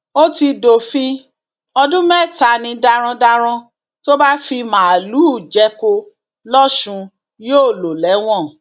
ó ti dófin ọdún mẹta ni darandaran tó bá fi màálùú jẹko lọsùn yóò lò lẹwọn